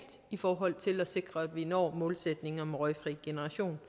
i forhold til at sikre at vi når målsætningen om en røgfri generation